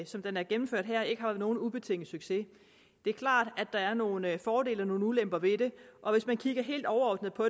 som den er gennemført her ikke har været nogen ubetinget succes det er klart at der er nogle fordele og nogle ulemper ved det og hvis man kigger helt overordnet på